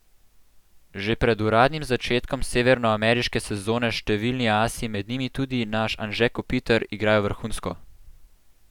Že pred uradnim začetkom severnoameriške sezone številni asi, med njimi tudi naš Anže Kopitar, igrajo vrhunsko!